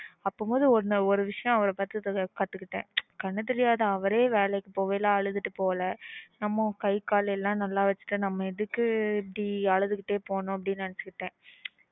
பாக்கும்போது ஒரு விஷயம் அவருகிட்ட கத்துக்கிட்டேன் கண்ணு தெரியாத அவரே வேளைக்கு போற அப்போ அழுதுட்டு போல நம்ம காய் கால் எல்லாம் நல்லா வெச்சுட்டு நம்ம எதுக்கு இப்பிடி அழுதுகிட்டேய் போகணும் அப்பிடின்னு நெனச்சன்